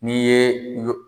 N'i ye yo